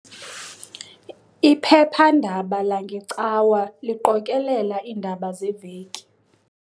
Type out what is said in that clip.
Iphephandaba langecawa liqokelela iindaba zeveki.